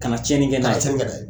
Kana tiɲɛni kɛ n'a ye kana tiɲɛni